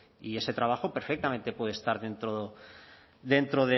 y ese trabajo perfectamente puede estar dentro